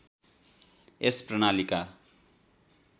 यस प्रणालीका